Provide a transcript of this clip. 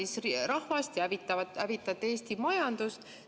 Kurnate rahvast ja hävitate Eesti majandust.